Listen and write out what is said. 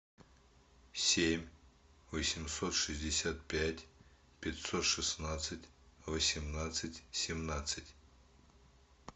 семь восемьсот шестьдесят пять пятьсот шестнадцать восемнадцать семнадцать